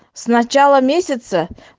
с начала месяца